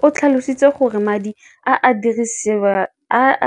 Rakwena o tlhalositse gore madi a